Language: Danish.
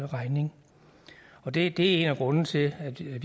regning og det er en af grundene til at vi